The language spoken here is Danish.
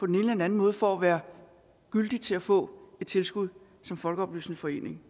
den anden måde for at være værdig til at få et tilskud som folkeoplysende forening